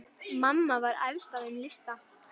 Mamma var efst á þeim lista.